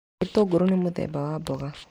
Gĩtũngũrũ nĩ mũthemba wa mboga.